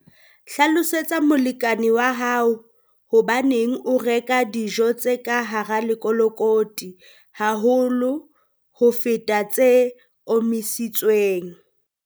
Hlalosetsa molekane wa hao hobaneng o reka dijo tse ka hara lekolokoti haholo ho feta tse omisitsweng.